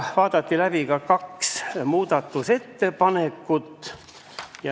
Vaadati läbi ka kaks muudatusettepanekut.